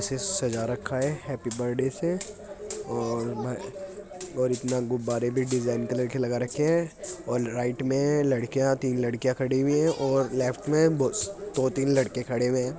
से सजा रखा है हैप्पी बर्थ्डै से और-और इतना गुब्बारे भी डिजाइन कलर के लगा रखे हैं और राइट में लड़कियां तीन लड़कियां खड़ी हुई है और लेफ्ट मे दो-दो तीन लड़के खड़े हुए है।